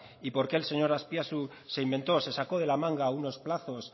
y por qué el señor azpiazu se inventó se sacó de la manga unos plazos